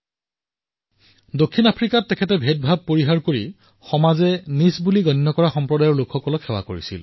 তেওঁৰ সমগ্ৰ জীৱন প্ৰত্যক্ষ কৰিলে দেখা পাম যে দক্ষিণ আফ্ৰিকাত সেই সম্প্ৰদায়ক তেওঁ সেৱা প্ৰদান কৰিছিল যিয়ে ভেদাভেদৰ মুখামুখি হবলগীয়া হৈছিল